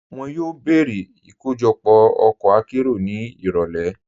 Wọn yóò bẹ̀rẹ̀ ikojọpọ ọkọ̀ àkéró ni irọ̀lẹ̀.